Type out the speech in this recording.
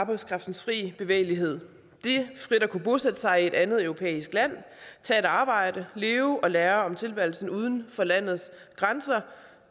arbejdskraftens frie bevægelighed det frit at kunne bosætte sig i et andet europæisk land tage et arbejde leve og lære om tilværelsen uden for lands grænser